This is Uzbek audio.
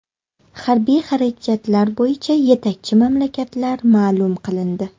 Harbiy xarajatlar bo‘yicha yetakchi mamlakatlar ma’lum qilindi.